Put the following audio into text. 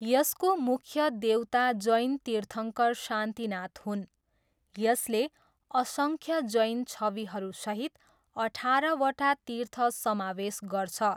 यसको मुख्य देवता जैन तीर्थङ्कर शान्तिनाथ हुन्, यसले असङ्ख्य जैन छविहरूसहित अठारवटा तीर्थ समावेश गर्छ।